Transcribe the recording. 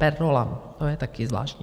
Per rollam, to je taky zvláštní.